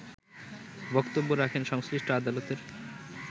বক্তব্য রাখেন সংশ্লিষ্ট আদালতের